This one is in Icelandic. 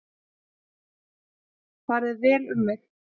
Farið vel um mig?